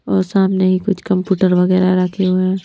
और सामने ही कुछ कंप्यूटर वगैरह रखे हुए हैं।